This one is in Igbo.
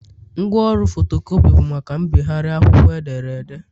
Ngwaọrụ fotocopi bụ maka mbịgharị akwụkwọ edere ede